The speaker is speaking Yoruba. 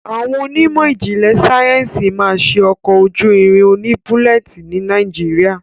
Awọn Onímò ijinle Sáyẹnsì ma ṣe ọkọ ojú ìrìn òní bulleti ní nàìjíría.